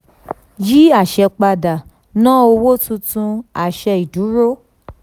yí àṣẹ padà ná owó tuntun àṣẹ ìdúró.